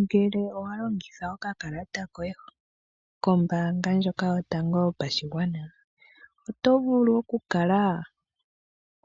Ngele owa longitha okakalata koye kombaanga ndjoka yotango yopashigwana, oto vulu okukala